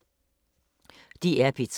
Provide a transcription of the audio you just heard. DR P3